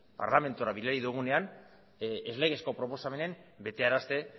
parlamentura bidali dugunean ez legezko proposamenen betearazte